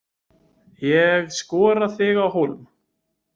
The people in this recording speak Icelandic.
Ég skora þig á hólm.